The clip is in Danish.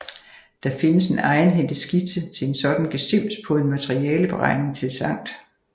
Der findes en egenhændig skitse til en sådan gesims på en materialeberegning til Sct